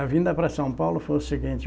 A vinda para São Paulo foi o seguinte.